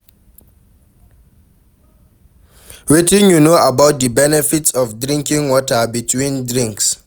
Wetin you know about di benefits of drinking water between drinks?